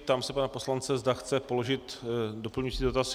Ptám se pana poslance, zda chce položit doplňující dotaz.